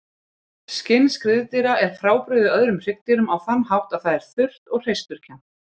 Skinn skriðdýra er frábrugðið öðrum hryggdýrum á þann hátt að það er þurrt og hreisturkennt.